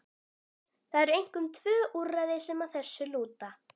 Það eru einkum tvö úrræði sem að þessu lúta.